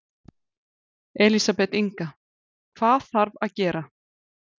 Elísabet Inga: Hvað þarf að gera?